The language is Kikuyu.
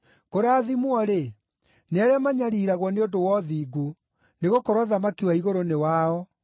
Kũrathimwo-rĩ, nĩ arĩa manyariiragwo nĩ ũndũ wa ũthingu, nĩgũkorwo ũthamaki wa igũrũ nĩ wao.